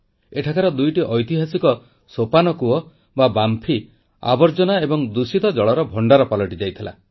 ଏଠାକାର ଦୁଇଟି ଐତିହାସିକ ସୋପାନ କୂପ ଆବର୍ଜନା ଏବଂ ଦୂଷିତ ଜଳର ଭଣ୍ଡାର ପାଲଟିଯାଇଥିଲା